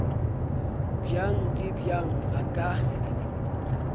bjang le bjang a ka